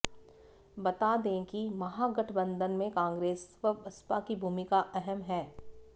बता दें कि महागठबंधन में कांग्रेस व बसपा की भूमिका अहम है